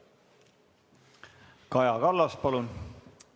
Kaja Kallas, palun!